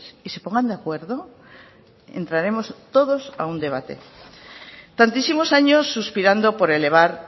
y se pongan de acuerdo entraremos todos a un debate tantísimos años suspirando por elevar